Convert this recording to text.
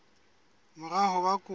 mora ho ba kopo ya